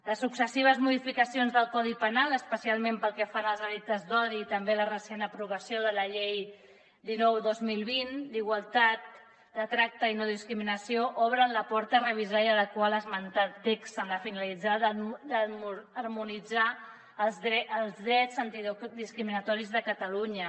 les successives modificacions del codi penal especialment pel que fa als delictes d’odi i també la recent aprovació de la llei dinou dos mil vint d’igualtat de tracte i no discriminació obren la porta a revisar i adequar l’esmentat text amb la finalitat d’harmonitzar els drets antidiscriminatoris de catalunya